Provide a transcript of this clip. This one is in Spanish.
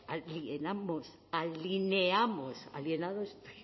a lie na mos alineamos alienados